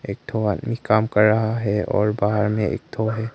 एक ठो आदमी काम कर रहा है और बाहर में एक ठो है।